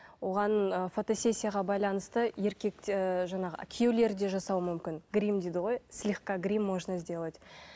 оған ы фотосессияға байланысты еркек те жаңағы күйеулері де жасауы мүмкін гримм дейді ғой слегка гримм можно сделать